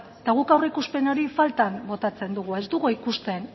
eta guk aurreikuspen hori faltan botatzen dugu ez dugu ikusten